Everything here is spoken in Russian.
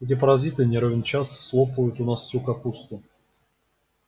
эти паразиты не ровен час слопают у нас всю капусту